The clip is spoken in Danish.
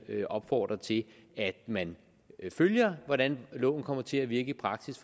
vil opfordre til at man følger hvordan loven kommer til at virke i praksis